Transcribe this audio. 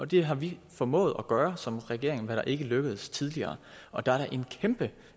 det har vi formået at gøre som regering hvilket ikke er lykkedes tidligere og der er da